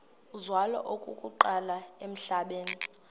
uzalwa okokuqala emhlabeni